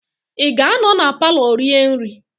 Ị ga-anọ na palọ rie nri?